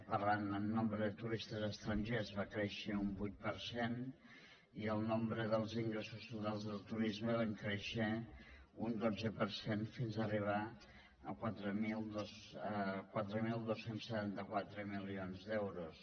parlant en nombre de turistes estrangers va créixer un vuit per cent i el nombre dels ingressos totals del turisme van créixer un dotze per cent fins a arribar a quatre mil dos cents i setanta quatre milions d’euros